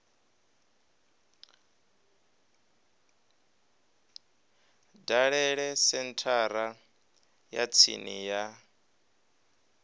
dalele senthara ya tsini ya